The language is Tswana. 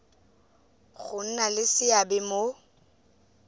go nna le seabe mo